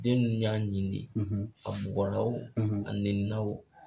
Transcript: Den nunnu y'a ni de ye . A bugɔra wo? a nɛni na wo ?